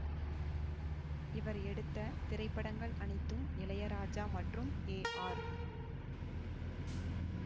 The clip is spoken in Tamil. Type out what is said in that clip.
இவர் எடுத்த திரைப்படங்கள் அனைத்தும் இளையராஜா மற்றும் ஏ ஆர்